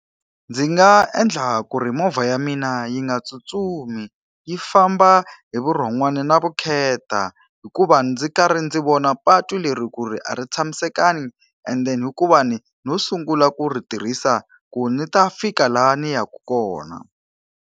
Ndzi nga endla ku ri movha ya mina yi nga tsutsumi, yi famba hi vurhon'wana na vukheta hikuva ndzi karhi ndzi vona patu leri ku ri a ri tshamisekanga and then-i hikuva ni no sungula ku ri tirhisa ku ni ta fika laha ni yaka kona.